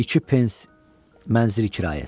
İki pens mənzil kirayəsi.